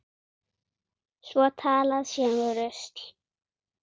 Svo talað sé um rusl.